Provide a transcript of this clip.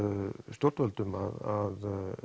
stjórnvöldum að